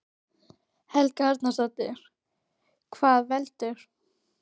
Helga Arnardóttir: Hvað veldur?